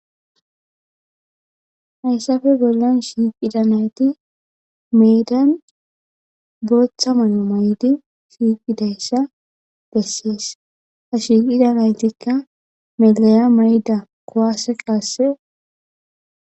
hayssafe bollan shiiqida nayti meedan booththa may7o may7di shiiqidayssa bessees ha shiiqida naytikka melaya mayda kowase qaasse